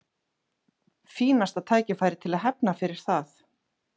Fínasta tækifæri til þess að hefna fyrir það.